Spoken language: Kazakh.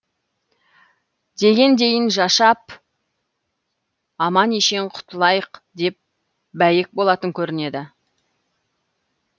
дегендейін жашап аман ешен құтылайық деп бәйек болатын көрінеді